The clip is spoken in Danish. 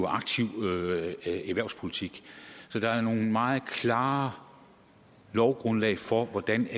aktiv erhvervspolitik så der er nogle meget klare lovgrundlag for hvordan